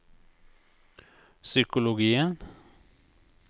psykologien